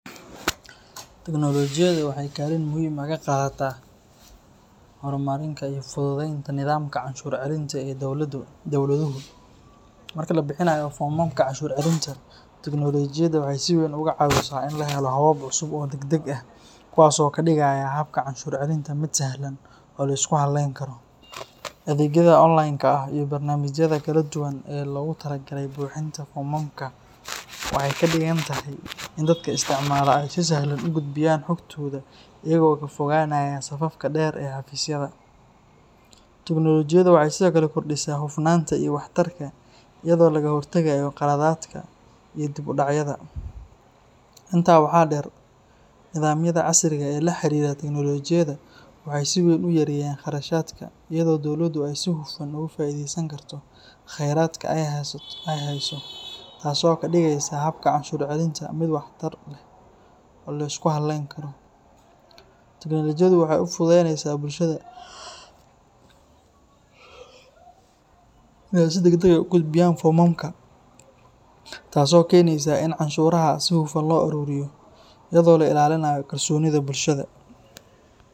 Teknolojiyadda waxay kaalin muhiim ah ka qaadataa horumarinta iyo fududeynta nidaamka canshuur celinta ee dowladuhu. Marka la bixinayo foomamka canshuur celinta, teknoolojiyadda waxay si weyn uga caawisaa in la helo habab cusub oo degdeg ah, kuwaas oo ka dhigaya habka canshuur celinta mid sahlan oo la isku halleyn karo. Adeegyada online-ka ah iyo barnaamijyada kala duwan ee loogu talagalay buuxinta foomamka waxay ka dhigan tahay in dadka isticmaala ay si sahlan u gudbiyaan xogtooda iyagoo ka fogaanaya safafka dheer ee xafiisyada. Teknolojiyadda waxay sidoo kale kordhisaa hufnaanta iyo waxtarka, iyadoo laga hortagayo qaladaadka iyo dib u dhacyada. Intaa waxaa dheer, nidaamyada casriga ah ee la xiriira teknolojiyadda waxay si weyn u yareeyaan kharashaadka, iyadoo dowladdu ay si hufan uga faa'iidaysan karto khayraadka ay hayso, taasoo ka dhigaysa habka canshuur celinta mid waxtar leh oo la isku halleyn karo. Teknolojiyaddu waxay u fududeysaa bulshada in ay si degdeg ah u gudbiyaan foomamka, taasoo keenaysa in canshuuraha si hufan loo ururiyo, iyadoo la ilaalinayo kalsoonida bulshada.